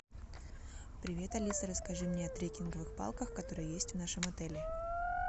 привет алиса расскажи мне о трекинговых палках которые есть в нашем отеле